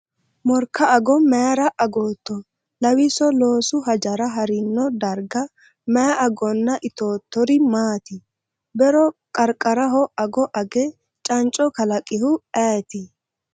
Morka ago mayra agatto? Lawwiso loosu hajora ha’rino darga may agonna itoottori maati? Be’ro qarqaraho ago age canco kalaqihu ayet?